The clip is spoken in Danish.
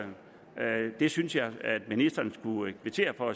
det synes jeg at ministeren skulle kvittere for